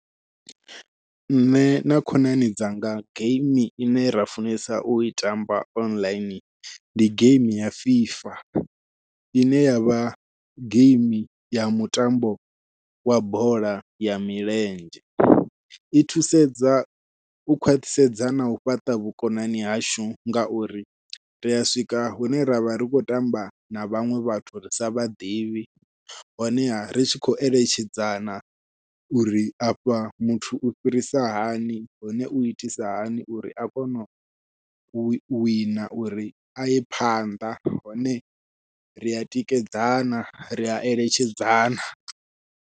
Nṋe na khonani dzanga geimi ine ra funesa u i tamba online ndi geimi ya fifa, ine yavha geimi ya mutambo wa bola ya milenzhe. I thusedza u khwaṱhisedza nau fhaṱa vhukonani hashu ngauri ria swika hune ra vha ri khou tamba na vhaṅwe vhathu ri sa vhaḓivhi honeha ri tshi khou eletshedzana uri afha muthu u fhirisa hani hone u itisa hani uri a kone u wina uri aye phanḓa hone ria tikedzana ria eletshedzana.